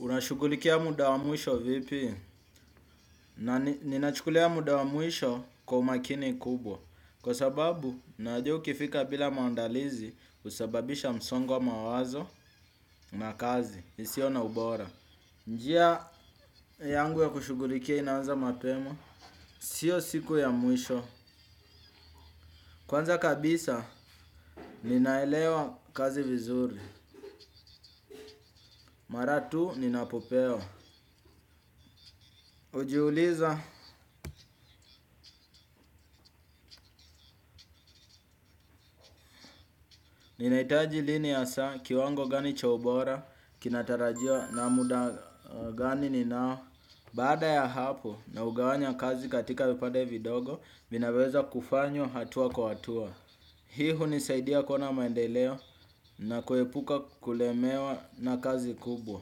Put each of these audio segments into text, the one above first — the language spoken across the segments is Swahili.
Unashughulikia muda wa mwisho vipi? Ninachukulia muda wa mwisho kwa umakini kubwa. Kwa sababu, najua ukifika bila maandalizi husababisha msongo wa mawazo na kazi. Isio na ubora. Njia yangu ya kushughulikia inaanza mapema. Sio siku ya mwisho. Kwanza kabisa, ninaelewa kazi vizuri. Mara tu, ninapopewa. Hujiuliza, ninahitaji lini hasa kiwango gani cha ubora. Kinatarajiwa na muda gani ninao. Baada ya hapo naugawanya kazi katika vipande vidogo vinaweza kufanywa hatua kwa hatua. Hii hunisaidia kuona maendeleo na kuepuka kulemewa na kazi kubwa.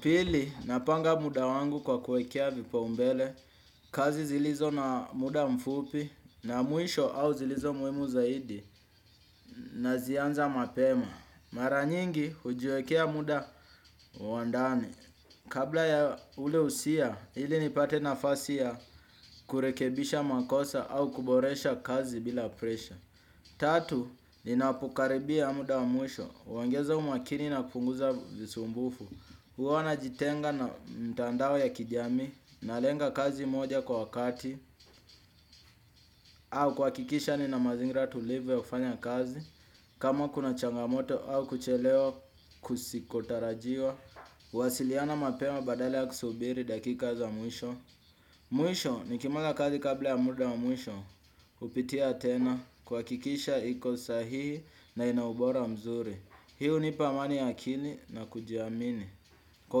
Pili napanga muda wangu kwa kuekea vipaumbele. Kazi zilizo na muda mfupi na mwisho au zilizo muhimu zaidi. Nazianza mapema. Mara nyingi hujiwekea muda wa ndani. Kabla ya ule usia, ili nipate nafasi ya kurekebisha makosa au kuboresha kazi bila presha. Tatu, ninapokaribia muda wa mwisho. Waongeza umakini napunguza visumbufu. Huwa najitenga na mtandao ya kijamii. Nalenga kazi moja kwa wakati. Au kuhakikisha nina mazingira tulivu ya kufanya kazi. Kama kuna changamoto au kuchelewa kusikotarajiwa. Huwasiliana mapema badala ya kusubiri dakika za mwisho. Mwisho nikimanga kazi kabla ya muda wa mwisho hupitia tena kuhakikisha iko sahii na ina ubora mzuri. Hii hunipa amani ya akili na kujiamini. Kwa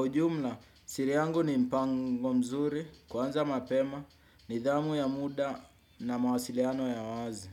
ujumla, siri yangu ni mpango mzuri. Kuanza mapema nidhamu ya muda na mawasiliano ya wazi.